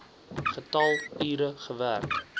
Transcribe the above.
getal ure gewerk